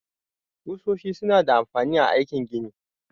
Kusoshi su na da amfani a aikin gini